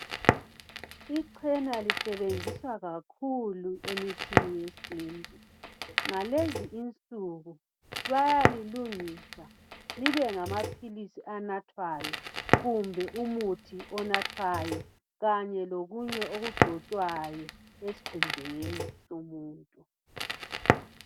ichela lisetshenziswa kakhulu emithini yesintu ngalezi insuku bayalilungisa libe ngama philizi anathwayo kumbe umuthi onathwayo kanye lokunye okugcotshwayo esikhumbeni somuntu.